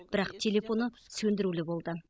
бірақ телефоны сөндірулі болды